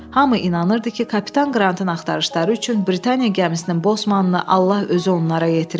Hamı inanırdı ki, kapitan Qrantın axtarışları üçün Britaniya gəmisinin Bosmanını Allah özü onlara yetirib.